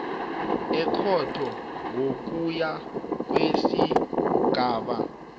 ekhotho ngokuya kwesigaba